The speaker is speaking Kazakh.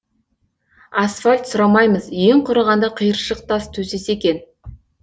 асфальт сұрамаймыз ең құрығанда қиыршық тас төсесе екен